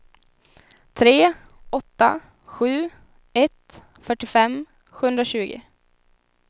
tre åtta sju ett fyrtiofem sjuhundratjugo